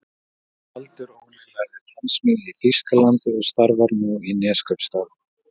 Baldur Óli lærði tannsmíði í Þýskalandi og starfar nú í Neskaupstað.